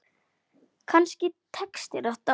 Kannski tekst þér þetta.